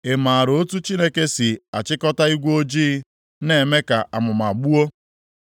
Ị maara otu Chineke si achịkọta igwe ojii na-eme ka amụma gbuo?